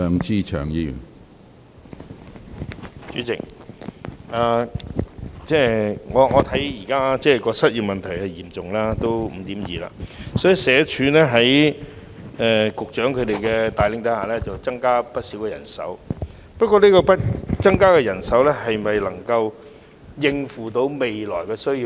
主席，現時失業問題十分嚴重，失業率高達 5.2%， 所以社署在局長帶領下增加了不少人手，但新增的人手能否應付未來的需要？